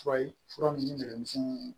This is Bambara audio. Fura ye fura ninnu ni dɛmisɛnninw